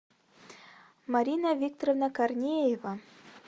марина викторовна корнеева